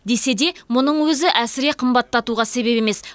десе де мұның өзі әсіре қымбаттатуға себеп емес